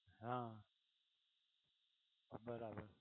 હા, બરાબર